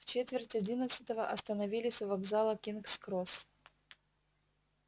в четверть одиннадцатого остановились у вокзала кингс-кросс